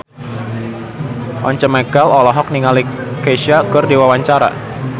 Once Mekel olohok ningali Kesha keur diwawancara